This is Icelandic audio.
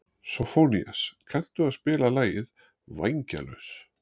Sófónías, kanntu að spila lagið „Vængjalaus“?